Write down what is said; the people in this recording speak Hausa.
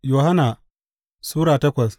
Yohanna Sura takwas